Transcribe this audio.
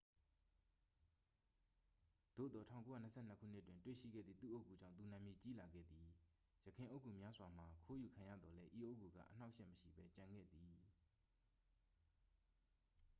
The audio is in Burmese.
သို့သော် 1922 ခုနှစ်တွင် တွေ့ရှိခဲ့သည့် သူ့အုတ်ဂူကြောင့် သူနာမည်ကြီးလာခဲ့သည် ယခင်အုတ်ဂူများစွာမှာ ခိုးယူခံရသော်လည်း ဤအုတ်ဂူက အနှောင့်အယှက် မရှိဘဲ ကျန်ရှိခဲ့သည်